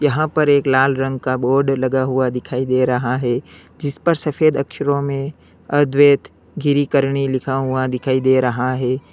यहां पर एक लाल रंग का बोर्ड लगा हुआ दिखाई दे रहा है जिस पर सफेद अक्षरों मे अद्वैत गिरीकरणी लिखा हुआ दिखाई दे रहा है।